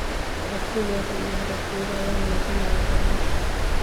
Aragtidooda iyo hadafkooda ayaa muujinaya horumarka.